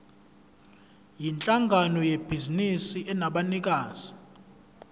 yinhlangano yebhizinisi enabanikazi